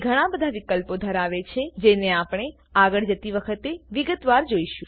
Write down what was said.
તે ઘણા બધા વિકલ્પો ધરાવે છે જેને આપણે આગળ જતી વખતે વિગતવાર જોઈશું